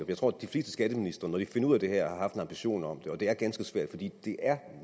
jeg tror at de fleste skatteministre når de finder ud af det her ambition om det og det er ganske svært fordi det er